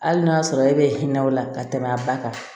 Hali n'a y'a sɔrɔ e bɛ hinɛ o la ka tɛmɛ a ba kan